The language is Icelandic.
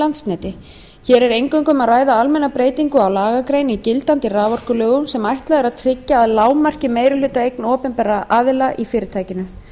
landsneti hér er eingöngu um að ræða almenna breytingu á lagagrein í gildandi raforkulögum sem ætlað er að tryggja að lágmarki meirihlutaeign opinberra aðila í fyrirtækinu